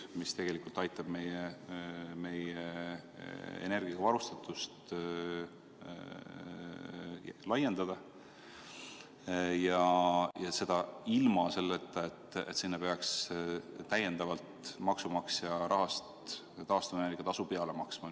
See tegelikult aitab meie energiaga varustatust laiendada ja seda ilma, et sinna peaks maksumaksja rahast taastuvenergia tasu peale maksma.